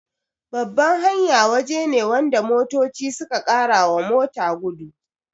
Babban hanya waje ne wanda motoci suka karawa mota gudu